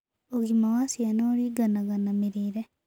Ũgima wa ciana ũrĩnganaga na mĩrĩĩre